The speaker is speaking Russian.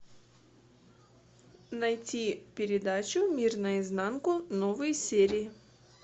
найти передачу мир наизнанку новые серии